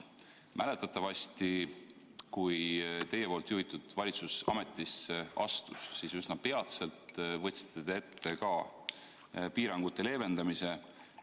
Mäletatavasti, kui teie juhitav valitsus ametisse astus, siis üsna peatselt võtsite te ette piirangute leevendamise.